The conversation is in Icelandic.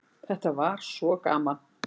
Þetta var svo gaman.